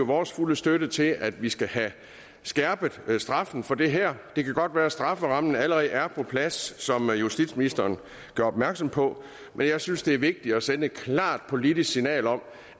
vores fulde støtte til at vi skal have skærpet straffen for det her det kan godt være at strafferammen allerede er på plads som justitsministeren gjorde opmærksom på men jeg synes det er vigtigt at sende et klart politisk signal om